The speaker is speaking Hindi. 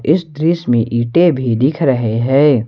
इस दृश्य में ईंटे भी दिख रहे हैं।